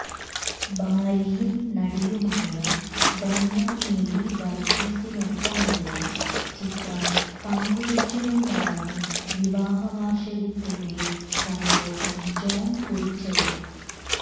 ഭാര്യയും നടിയുമായ ധന്യ മേരി വർഗീസിനൊപ്പമുള്ള ചിത്രം പങ്കുവച്ചുകൊണ്ടാണ് വിവാഹവാർഷികത്തിന്റെ സന്തോഷം ജോൺ കുറിച്ചത്